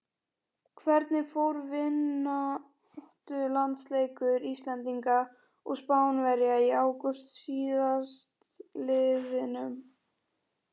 Hvernig fór vináttulandsleikur Íslendinga og Spánverja í ágúst síðastliðnum?